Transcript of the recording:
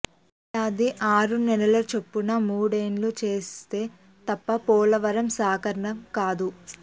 ఏడాది ఆరు నెలలు చొప్పున మూడేళ్ళు చేస్తే తప్ప పోలవరం సాకారం కాదు